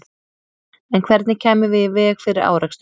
En hvernig kæmum við í veg fyrir árekstur?